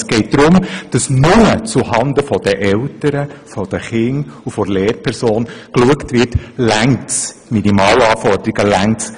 Es geht darum, dass nur zu Handen der Eltern, der Kinder und der Lehrperson geschaut wird, ob das Leseverständnis den Minimalanforderungen genügt.